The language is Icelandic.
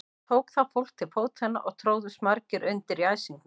Tók þá fólk til fótanna og tróðust margir undir í æsingnum.